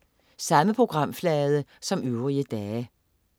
Samme programflade som øvrige dage